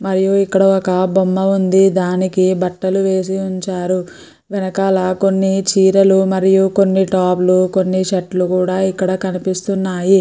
మరియు ఇక్కడ ఒక బొమ్మ ఉంది దానికి బట్టలు వేసి ఉంచారు వెనకాల కొన్ని చీరలుమరియు కొన్నిటాప్లు కొన్ని షర్ట్ లు కూడా ఇక్కడ కనిపిస్తున్నాయి.